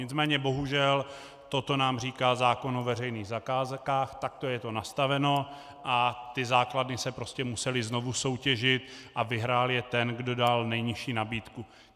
Nicméně bohužel toto nám říká zákon o veřejných zakázkách, takto je to nastaveno a ty základy se prostě musely znovu soutěžit a vyhrál je ten, kdo dal nejnižší nabídku.